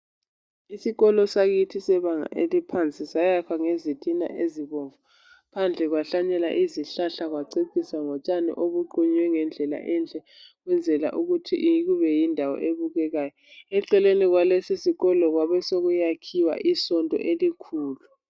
Isikolo sakithi sebanga eliphansi sayakhwa ngezintina ezibomvu phandle kwahlanyelwa izihlahla kwaceciswa ngotshani obuqunywe ngendlela enhle ukwenzela ukuthi kube yindawo ebukekayo. Eceleni kwalesisikolo kwabe sokuyakhiwa isonto elikhulu.